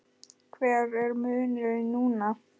Hver er munurinn núna?